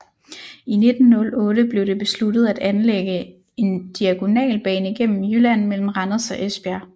I 1908 blev det besluttet at anlægge en diagonalbane gennem Jylland mellem Randers og Esbjerg